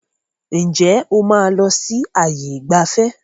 Ǹjẹ́ o máa lọ sí ààyè ìgbafẹ́?